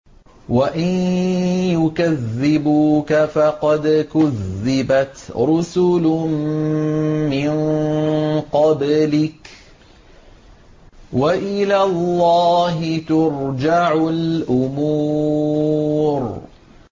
وَإِن يُكَذِّبُوكَ فَقَدْ كُذِّبَتْ رُسُلٌ مِّن قَبْلِكَ ۚ وَإِلَى اللَّهِ تُرْجَعُ الْأُمُورُ